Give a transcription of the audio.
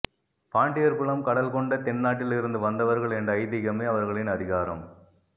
பாண்டியர் குலம் கடல்கொண்ட தென்னாட்டில் இருந்து வந்தவர்கள் என்ற ஐதீகமே அவர்களின் அதிகாரம்